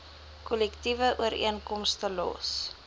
kollektiewe ooreenkomste los